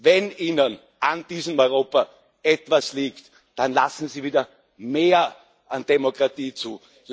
Wenn Ihnen an diesem Europa etwas liegt, dann lassen Sie wieder mehr an Demokratie zu.